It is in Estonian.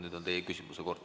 Nüüd on teie küsimuse kord.